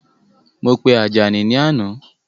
Mo pe Àjàní ni àná